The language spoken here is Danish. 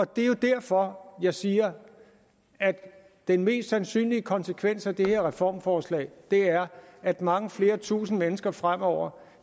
det er derfor jeg siger at den mest sandsynlige konsekvens af det her reformforslag er at mange flere tusinde mennesker fremover